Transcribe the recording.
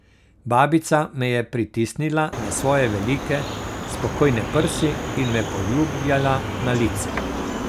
Babica me je pritisnila na svoje velike, spokojne prsi in me poljubljala na lice.